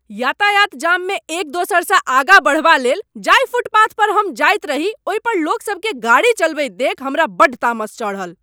यातायात जाममे एक दोसरसँ आगाँ बढ़बा लेल जाहि फुटपाथ पर हम जाइत रही ओहि पर लोकसभकेँ गाड़ी चलबैत देखि हमरा बड्ड तामस चढ़ल।